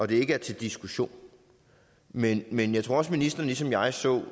det ikke er til diskussion men men jeg tror også at ministeren ligesom jeg så